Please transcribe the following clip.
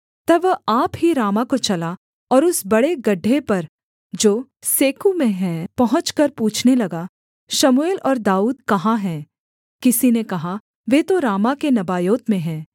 तब वह आप ही रामाह को चला और उस बड़े गड्ढे पर जो सेकू में है पहुँचकर पूछने लगा शमूएल और दाऊद कहाँ है किसी ने कहा वे तो रामाह के नबायोत में हैं